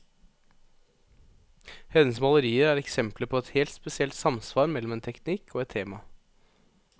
Hennes malerier er eksempler på et helt spesielt samsvar mellom en teknikk og et tema.